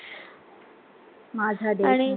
माझा देश